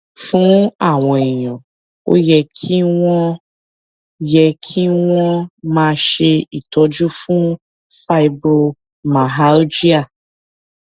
fún àwọn èèyàn ó yẹ kí wón yẹ kí wón máa ṣe ìtọjú fún fibromyalgia